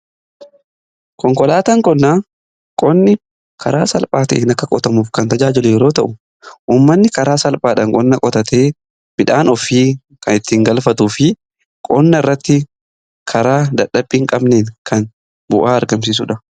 Konkolaataan qonnaa qonni karaa salphaa ta'een akka qotamuuf kan tajaajilu yoo ta'u, ummanni karaa salphaadhan qonna qotatee midhaan ofii kan ittiin galfatu fi qonna irratti karaa dadhabbii in qabneen kan bu'aa argamsiisuudha.